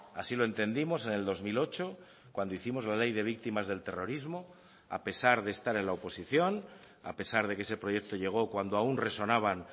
así lo entendimos en el dos mil ocho cuando hicimos la ley de víctimas del terrorismo a pesar de estar en la oposición a pesar de que ese proyecto llegó cuando aun resonaban